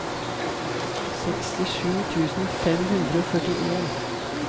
sekstisju tusen fem hundre og førtien